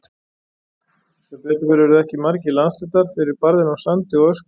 Sem betur fór urðu ekki margir landshlutar fyrir barðinu á sandi og ösku.